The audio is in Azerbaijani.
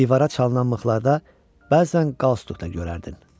Divara çalınan mıxlarda bəzən qalstuk da görərdin.